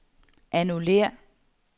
annullér